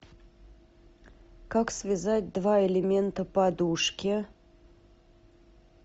как связать два элемента подушки